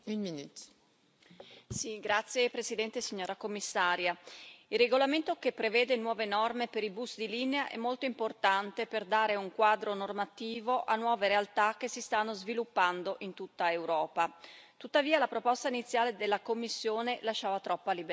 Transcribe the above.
Signora Presidente, onorevoli colleghi, signora Commissario, il regolamento che prevede nuove norme per i bus di linea è molto importante per dare un quadro normativo a nuove realtà che si stanno sviluppando in tutta Europa. Tuttavia, la proposta iniziale della Commissione lasciava troppa libertà.